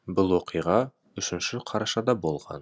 бұл оқиға үшінші қарашада болған